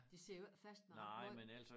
De sidder jo ikke fast nej ikke måj